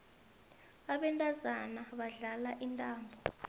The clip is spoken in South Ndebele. abantazana badlala intambo